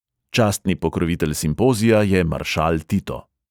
Častni pokrovitelj simpozija je maršal tito.